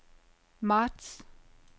marts